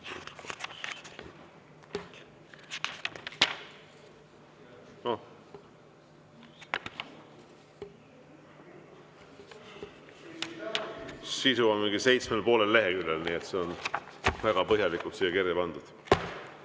No sisu on seitsmel ja poolel leheküljel, nii et see on väga põhjalikult siia kirja pandud.